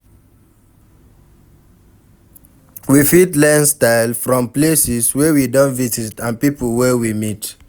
We fit learn style from places wey we don visit and pipo wey we meet